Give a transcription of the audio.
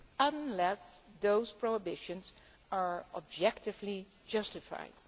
unless those prohibitions are objectively justified.